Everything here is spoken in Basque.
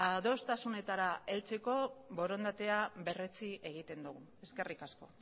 adostasunetara heltzeko borondatea berretsi egiten dugu eskerrik asko